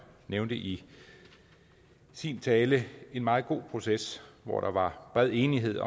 nævnte i sin tale en meget god proces hvor der var bred enighed